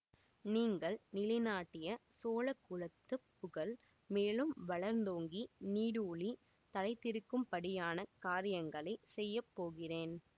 நீங்கள் நிலைநாட்டிய சோழ குலத்துப் புகழ் மேலும் வளர்ந்தோங்கி நீடூழி நிலைத்திருக்கும்படியான காரியங்களை செய்ய போகிறேன்